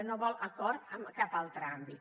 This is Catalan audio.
no vol acord en cap altre àmbit